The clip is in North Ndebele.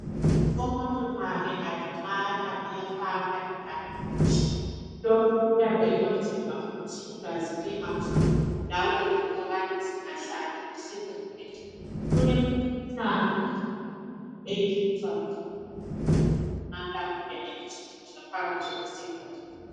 Umuntu nxa engalimala uyafaka ibhanditshi. Lokhu uyabe ekwenzela ukuthi igazi lingaphumi njalo lempukane zingahlali esilondeni. Kulemikhuhlane eminye elethwa yikuthi umuntu engalimala kungene ingcekeza phakathi kwesilonda.